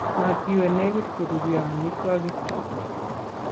Matiwe negit koruryo amitwogik